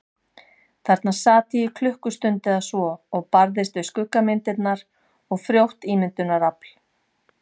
Þarna sat ég í klukkustund eða svo og barðist við skuggamyndirnar og frjótt ímyndunarafl.